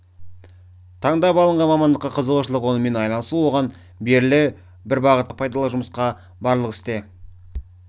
таңдап алынған мамандыққа қызығушылық онымен айналысу оған берілу бір бағытта жұмыс істейтін адамдармен қоғамдық пайдалы жұмыс барлық істе